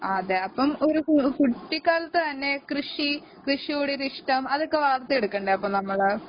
ആ അതെ അപ്പൊ ഒരു കുട്ടിക്കാലത്തു തന്നെ കൃഷി കൃഷിയോടൊരിഷ്ടം അതൊക്കെ വളർത്തിയെടുക്കണ്ടേ അപ്പൊ നമ്മള്